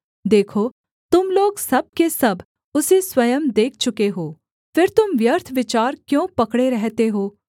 देखो तुम लोग सब के सब उसे स्वयं देख चुके हो फिर तुम व्यर्थ विचार क्यों पकड़े रहते हो